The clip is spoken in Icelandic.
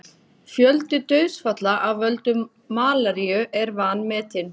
Fjöldi dauðsfalla af völdum malaríu vanmetin